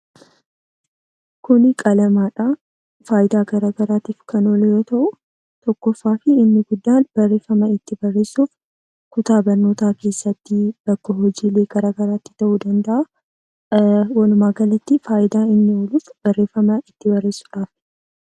Kuni qalamadha. Faayidaa garagaraaf kan oolu yoo ta'u, inni guddaan barreeffama ittiin barreessuudhaafi. Keessumaa manneen barnootaa keessatti.